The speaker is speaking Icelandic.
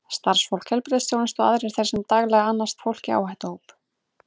Starfsfólk heilbrigðisþjónustu og aðrir þeir sem daglega annast fólk í áhættuhópum.